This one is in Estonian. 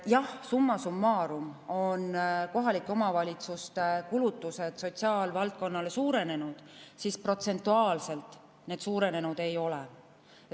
Jah, summa summarum on kohalike omavalitsuste kulutused sotsiaalvaldkonnale suurenenud, aga protsentuaalselt need suurenenud ei ole.